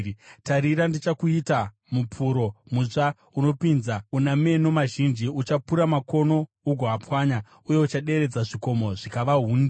“Tarira, ndichakuita mupuro, mutsva unopinza, una meno mazhinji. Uchapura makomo ugoapwanya, uye uchaderedza zvikomo zvikava hundi.